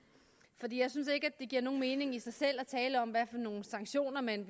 jeg synes ikke det giver nogen mening i sig selv at tale om hvad for nogle sanktioner man